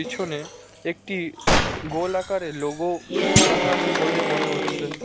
একটি গোল আকারের লোগো রাখা আছে বলে মনে হচ্ছে।